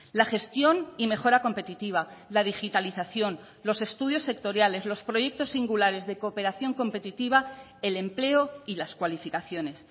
la gestión y mejora competitiva la digitalización los estudios sectoriales los proyectos singulares de cooperación competitiva el empleo y las cualificaciones